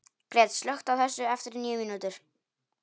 Gret, slökktu á þessu eftir níu mínútur.